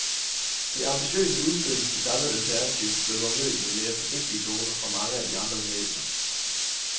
Det ambitiøse udspil til samlet alternativ blev dog mødt med mere forsigtige toner fra mange af de andre bevægelser.